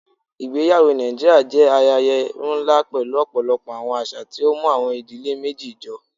Ìgbẹyàwọ̀ Nàìjíríà jẹ́ ayẹyẹ̀ nlá pẹ̀lú ọ̀pọ̀lọpọ̀ awọn àṣà, tí ó mú awọn ìdílé méjì jọ.